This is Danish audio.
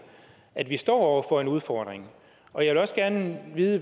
at vi står over for en udfordring og jeg vil også gerne vide